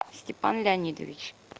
степан леонидович